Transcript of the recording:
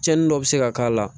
Cɛnnin dɔ bi se ka k'a la